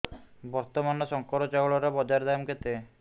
ବର୍ତ୍ତମାନ ଶଙ୍କର ଚାଉଳର ବଜାର ଦାମ୍ କେତେ